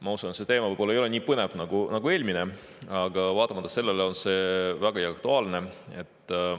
Ma usun, et see teema ei ole nii põnev nagu eelmine, aga vaatamata sellele on see vägagi aktuaalne.